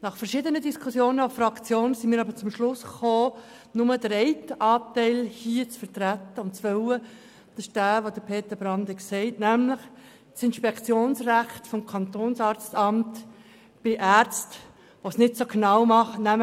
Zweitens sind wir nach verschiedenen Diskussionen in unserer Fraktion zum Schluss gekommen, dass wir nur den einen Anteil hier unterstützen, nämlich denjenigen, der von Peter Brand erwähnt worden ist, das Inspektionsrecht des Kantonsarztamtes bei Ärzten, die es mit ihrer Arbeit nicht so genau nehmen.